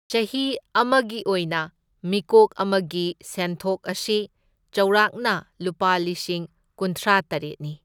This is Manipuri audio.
ꯆꯍꯤ ꯑꯃꯒꯤ ꯑꯣꯏꯅ ꯃꯤꯀꯣꯛ ꯑꯃꯒꯤ ꯁꯦꯟꯊꯣꯛ ꯑꯁꯤ ꯆꯥꯎꯔꯥꯛꯅ ꯂꯨꯄꯥ ꯂꯤꯁꯤꯡ ꯀꯨꯟꯊ꯭ꯔꯥ ꯇꯔꯦꯠꯅꯤ꯫